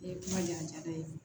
Ee kuma ɲɛda ye